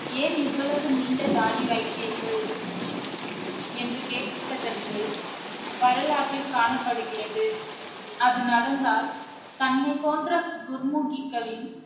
ஏன் இவ்வளவு நீண்ட தாடி வைத்தீர்கள் என்று கேட்டதற்கு வரலாற்றில் காணப்படுகிறது அது நடந்தால் தன்னைப் போன்ற குர்முகிகளின்